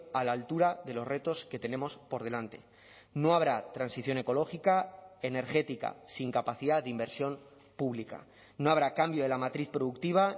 a la altura de los retos que tenemos por delante no habrá transición ecológica energética sin capacidad de inversión pública no habrá cambio de la matriz productiva